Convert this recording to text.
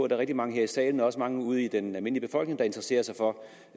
der er mange her i salen og også mange ude blandt den almindelige befolkning der interesserer sig for